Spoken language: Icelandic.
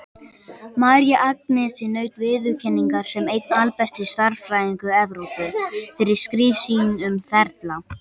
María Agnesi naut viðurkenningar sem einn albesti stærðfræðingur Evrópu, fyrir skrif sín um ferla.